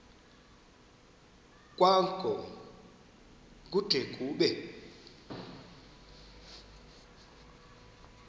kwango kude kube